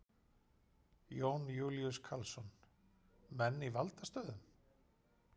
Jón Júlíus Karlsson: Menn í valdastöðum?